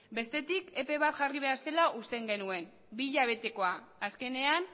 bestetik epe bat jarri behar zela usten genuen bi hilabetekoa azkenean